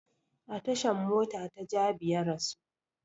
A tashan mota ta jabi ya rasu